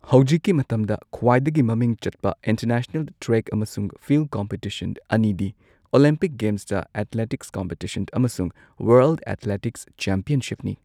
ꯍꯧꯖꯤꯛꯀꯤ ꯃꯇꯝꯗ ꯈ꯭ꯋꯥꯏꯗꯒꯤ ꯃꯃꯤꯡ ꯆꯠꯄ ꯏꯟꯇꯔꯅꯦꯁꯅꯦꯜ ꯇ꯭ꯔꯦꯛ ꯑꯃꯁꯨꯡ ꯐꯤꯜꯗ ꯀꯝꯄꯤꯇꯤꯁꯟ ꯑꯅꯤꯗꯤ ꯑꯣꯂꯤꯝꯄꯤꯛ ꯒꯦꯝꯁꯇ ꯑꯦꯊꯂꯦꯇꯤꯛꯁ ꯀꯝꯄꯤꯇꯤꯁꯟ ꯑꯃꯁꯨꯡ ꯋꯔꯜꯗ ꯑꯦꯊꯂꯦꯇꯤꯛꯁ ꯆꯦꯝꯄꯤꯌꯟꯁꯤꯞꯁꯅꯤ꯫